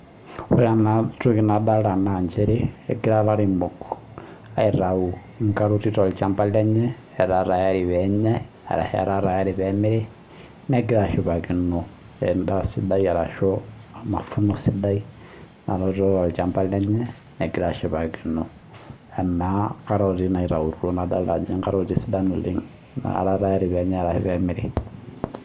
Ore ena toki nadolita naa egira elairemok aitau entokitin too olchambai lenye etaa tayari pee enyai ashu etaa tayari pee emiri negira ashipakino enda sidai nanoto tolchamba lenye negira ashipakino nkaroti naitautuo nadolita Ajo nkaroti sidan oleng nara tayari pee enyai ashu lee emiri